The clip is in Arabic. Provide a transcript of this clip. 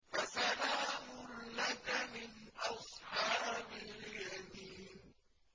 فَسَلَامٌ لَّكَ مِنْ أَصْحَابِ الْيَمِينِ